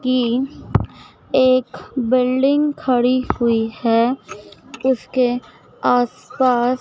की एक बिल्डिंग खड़ी हुई है उसके आसपास--